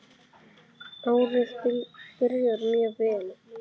Árið byrjar mjög vel.